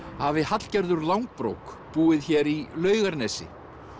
hafi Hallgerður langbrók búið hér í Laugarnesi